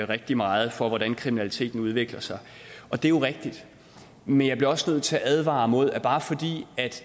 rigtig meget for hvordan kriminaliteten udvikler sig og det er jo rigtigt men jeg bliver også nødt til at advare mod at bare fordi